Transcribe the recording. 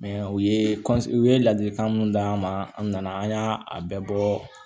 u ye u ye ladilikan mun d'an ma an nana an y'a bɛɛ bɔ